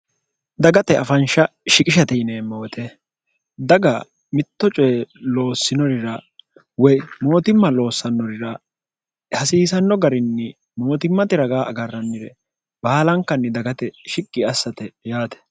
dagate afansha shiqishate yineemmowote daga mitto coye loossinorira woy mootimma loossannorira hasiisanno garinni mootimmate raga agarrannire baalankanni dagate shiqqi assate yaate